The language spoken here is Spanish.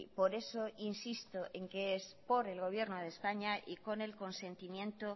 por eso insisto en que es por el gobierno de españa y con el consentimiento